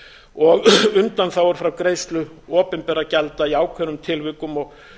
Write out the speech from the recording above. og undanþágur frá greiðslu opinberra gjalda í ákveðnum tilvikum og